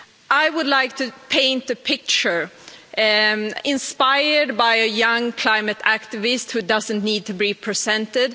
I would like to paint a picture, inspired by a young climate activist who doesn't need to be presented.